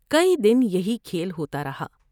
کئی دن یہی کھیل ہوتا رہا ۔